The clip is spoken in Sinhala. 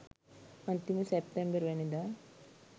අන්තිමේ සැප්තැම්බර්වැනිදා